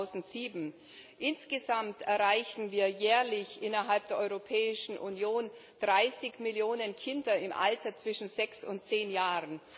2007. Insgesamt erreichen wir jährlich innerhalb der Europäischen Union 30 Millionen Kinder im Alter zwischen sechs und zehn Jahren.